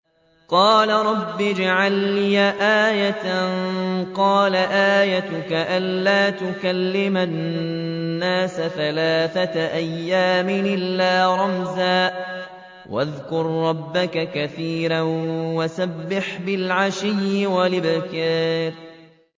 قَالَ رَبِّ اجْعَل لِّي آيَةً ۖ قَالَ آيَتُكَ أَلَّا تُكَلِّمَ النَّاسَ ثَلَاثَةَ أَيَّامٍ إِلَّا رَمْزًا ۗ وَاذْكُر رَّبَّكَ كَثِيرًا وَسَبِّحْ بِالْعَشِيِّ وَالْإِبْكَارِ